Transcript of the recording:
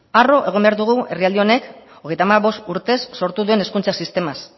harro egon behar dugu herrialde honek hogeita hamabost urtez sortu den hezkuntza sistemaz